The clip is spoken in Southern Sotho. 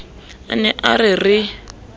a ne a re re